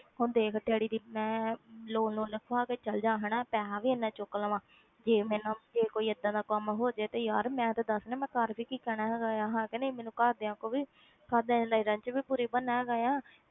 ਹੁਣ ਦੇਖ ਡੈਡੀ ਦੀ ਮੈਂ loan ਲੂਨ ਲਿਖਵਾ ਕੇ ਚਲੇ ਜਾਵਾਂ ਹਨਾ, ਪੈਸਾ ਵੀ ਇੰਨਾ ਚੁੱਕ ਲਵਾਂ ਜੇ ਮੈਨੂੰ ਜੇ ਕੋਈ ਏਦਾਂ ਦਾ ਕੰਮ ਹੋ ਜਾਵੇ ਤਾਂ ਯਾਰ ਮੈਂ ਤੇ ਦੱਸ ਨਾ ਮੈਂ ਘਰ ਵੀ ਕਹਿਣਾ ਹੈਗਾ ਆ, ਹਨਾ ਕਿ ਨਹੀਂ ਮੈਨੂੰ ਘਰਦਿਆਂ ਕੋਲ ਵੀ ਘਰਦਿਆਂ ਦੀ ਨਜ਼ਰਾਂ ਵਿੱਚ ਵੀ ਬੁਰੀ ਬਣਨਾ ਹੈਗਾ ਆ,